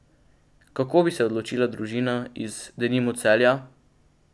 Kako bi se odločila družina iz, denimo, Celja?